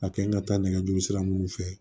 A kɛ n ka taa nɛgɛjuru sira minnu fɛ